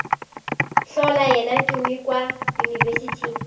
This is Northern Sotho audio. hlola yena tumi kua yunibesithing